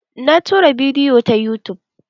Na tura bidiyo ta yutub.